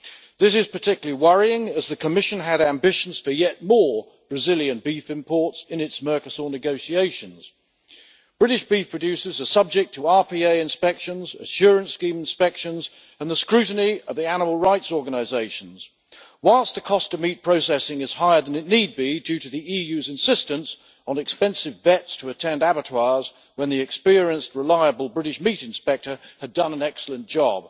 This is particularly worrying as the Commission had ambitions for yet more Brazilian beef imports in its Mercosur negotiations. British beef producers are subject to RPA inspections, assurance scheme inspections and the scrutiny of animal rights organisations, whilst the cost of meat processing is higher than it need be due to the EU's insistence on expensive veterinary surgeons to attend abattoirs when the experienced reliable British meat inspector had done an excellent job.